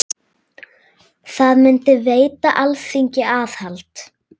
Það myndi veita Alþingi aðhald.